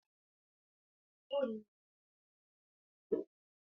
Shiga cikin duniyar wasan kwaikwayo da fina-finai, bincika nau'o'in nau'o'i da labaran labarai.